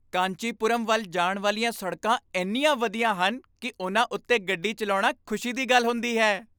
ਕਾਂਚੀਪੁਰਮ ਵੱਲ ਜਾਣ ਵਾਲੀਆਂ ਸੜਕਾਂ ਇੰਨੀਆਂ ਵਧੀਆ ਹਨ ਕਿ ਉਨ੍ਹਾਂ ਉੱਤੇ ਗੱਡੀ ਚਲਾਉਣਾ ਖੁਸ਼ੀ ਦੀ ਗੱਲ ਹੁੰਦੀ ਹੈ।